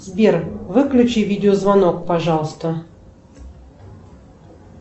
сбер выключи видеозвонок пожалуйста